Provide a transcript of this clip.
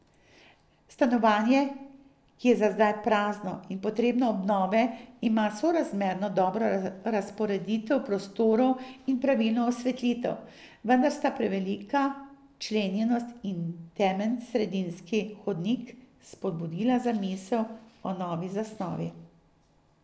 Stanovanje, ki je za zdaj prazno in potrebno obnove, ima sorazmerno dobro razporeditev prostorov in pravilno osvetlitev, vendar sta prevelika členjenost in temen sredinski hodnik spodbudila zamisel o novi zasnovi.